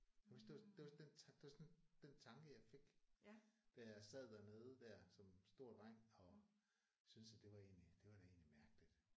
Jeg kan huske det var sådan det var den det var sådan den tanke jeg fik da jeg sad dernede der som stor dreng og synes at det var egentlig det var da egentlig mærkeligt